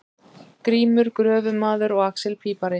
Grímur gröfumaður og axel pípari.